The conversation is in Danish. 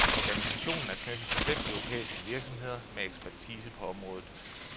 Organisationen er knyttet til fem europæiske virksomheder med ekspertise på området.